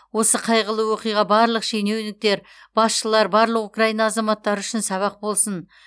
осы қайғылы оқиға барлық шенеуніктер басшылар барлық украина азаматтары үшін сабақ болсын